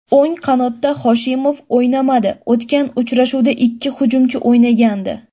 O‘ng qanotda Hoshimov o‘ynamadi, o‘tgan uchrashuvda ikki hujumchi o‘ynagandi.